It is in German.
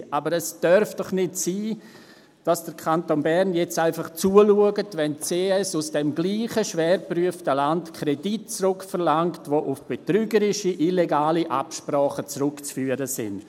Aber es darf doch nicht sein, dass der Kanton Bern jetzt einfach zuschaut, wenn die CS aus diesem gleichen, schwer geprüften Land Kredite zurückverlangt, die auf betrügerische, illegale Absprachen zurückzuführen sind!